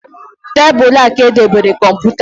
Tabulu ka e debere kọmputa